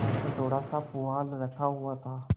द्वार पर थोड़ासा पुआल रखा हुआ था